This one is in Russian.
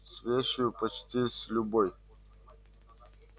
с вещью почти с любой